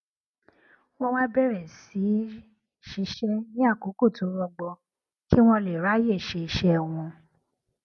wón wá bèrè sí í ṣiṣé ní àkókò tó rọgbọ kí wón lè ráyè ṣe iṣé wọn